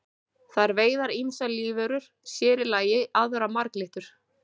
Þær veiða ýmsar lífverur, sér í lagi aðrar marglyttur.